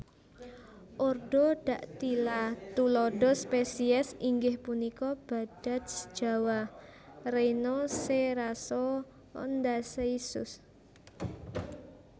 Ordo Dactyla tuladha spesies inggih punika badaj jawa rhino cerassoondaicus